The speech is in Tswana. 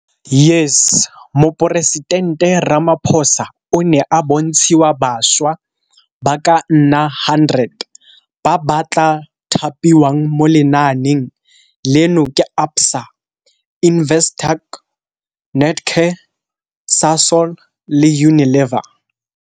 YES Moporesitente Ramaphosa o ne a bontshiwa bašwa ba ka nna 100 ba ba tla thapiwang mo lenaaneng leno ke ABSA, Investec, Netcare, Sasol le Unilever.